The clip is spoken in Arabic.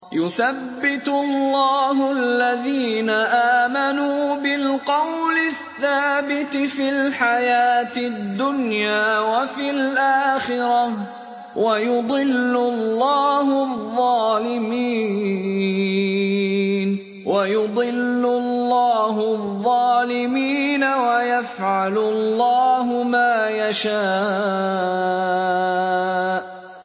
يُثَبِّتُ اللَّهُ الَّذِينَ آمَنُوا بِالْقَوْلِ الثَّابِتِ فِي الْحَيَاةِ الدُّنْيَا وَفِي الْآخِرَةِ ۖ وَيُضِلُّ اللَّهُ الظَّالِمِينَ ۚ وَيَفْعَلُ اللَّهُ مَا يَشَاءُ